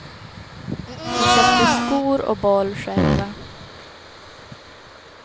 Vi köpte skor och boll själva.